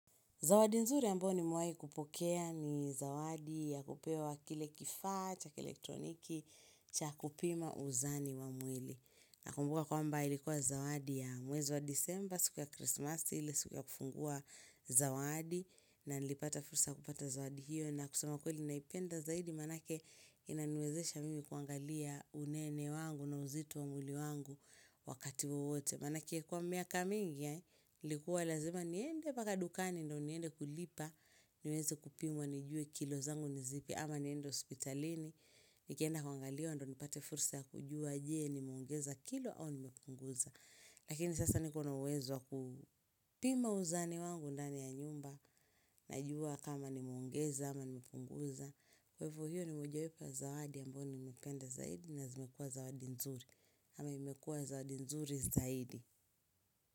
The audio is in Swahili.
Zawadi nzuri ambayo nimewahi kupokea ni zawadi ya kupewa kile kifaa, cha elektroniki, cha kupima uzani wa mwili. Nakumbuka kwamba ilikuwa zawadi ya mwezi wa December, siku ya Krismasi, ile siku ya kufungua zawadi na nilipata fursa ya kupata zawadi hiyo. Na kusema ukweli naipenda zaidi maanake inaniwezesha mimi kuangalia unene wangu na uzito wa mwili wangu wakati wowote. Maanake kwa miaka mingi ilikuwa lazima niende mpaka dukani ndio niende kulipa niweze kupimwa nijue kilo zangu ni zipi ama niende hospitalini Nikienda kuangaliwa ndio nipate fursa ya kujua je nimeongeza kilo au nimepunguza Lakini sasa nikona uwezo wa kupima uzani wangu ndani ya nyumba Najua kama nimeongeza ama nimepunguza Kwa hivo hiyo ni mojawepo ya zawadi ambayo nimependa zaidi na zimekuwa zawadi nzuri ama imekuwa zawadi nzuri zaidi.